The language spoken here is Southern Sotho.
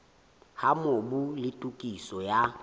ha mobu le tokiso ya